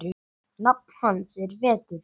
Nafn hans er Vetur.